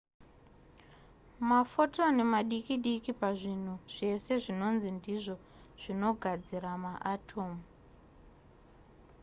mafotoni madiki diki pazvinhu zvese zvinonzi ndizvo zvinogadzira maatomu